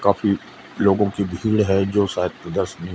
काफी लोगों की भीड़ है जो शायद प्रदर्शनी--